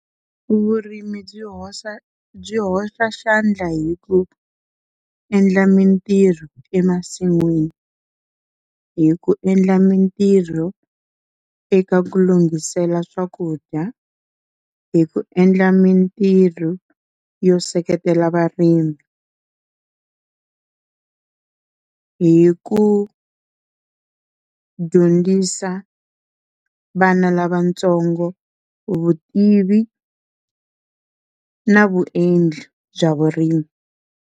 Vurimi byi hoxa byi hoxa xandla hi ku endla mintirho emasin'wini, hi ku endla mintirho eka ku lunghisela swakudya, hi ku endla mintirho yo seketela varimi hi ku dyondzisa vana lavatsongo vutivi na vuendli bya vurimi.